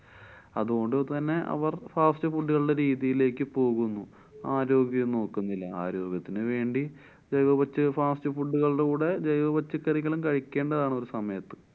അതുകൊണ്ടു തന്നെ അവര്‍ fast food കളുടെ രീതികളിലേക്ക് പോകുന്നു. ആരോഗ്യം നോക്കുന്നില്ല. ആരോഗ്യത്തിനു വേണ്ടി ജൈവ പച്ച~ fast food കളുടെ കൂടെ ജൈവപച്ചക്കറികളും കഴിക്കേണ്ടതാണ് ഒരു സമയത്ത്.